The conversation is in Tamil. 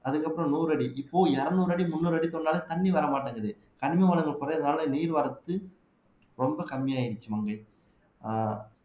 அதுக்கப்புறம் நூறு அடி இப்போ இருநூறு அடி முந்நூறு அடி தோண்டுனாலே தண்ணி வர மாட்டேங்குது கனிம வளங்கள் குறையிறதுனாலே நீர்வரத்து ரொம்ப கம்மி ஆயிடுச்சு மங்கை ஆஹ்